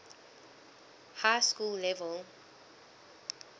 high school level